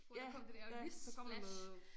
Hvor der kom det dér flash